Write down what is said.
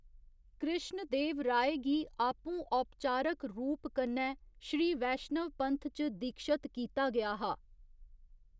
कृश्ण देव राय गी आपूं औपचारक रूप कन्नै श्री वैश्नव पंथ च दीक्षत कीता गेआ हा।